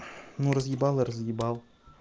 ну разъебал и разъебал